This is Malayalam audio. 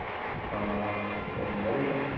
ആഹ് എന്താറീല